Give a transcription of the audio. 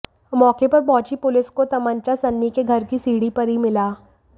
मौके पर पहुंची पुलिस को तमंचा सन्नी के घर की सीढ़ी पर ही मिला